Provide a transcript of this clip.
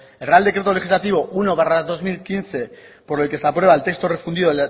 el real decreto legislativo uno barra dos mil quince por el que se aprueba el texto fundido